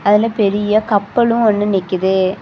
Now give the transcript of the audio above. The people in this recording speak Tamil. அதுல பெரிய கப்பல்லு ஒன்னு நிக்குது.